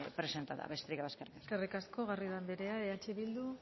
presentada besterik gabe eskerrik asko eskerrik asko garrido anderea eh bildu